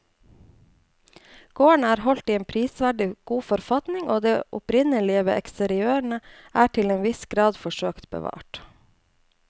Gården er holdt i en prisverdig god forfatning og det opprinnelige ved eksteriørene er til en viss grad forsøkt bevart.